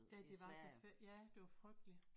Da de var så ja det var frygteligt